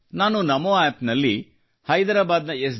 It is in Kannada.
ನಾನು ನಮೋ ಆಪ್ನಲ್ಲಿ ಹೈದರಾಬಾದ್ನ ಎಸ್